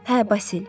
Hə, Basil.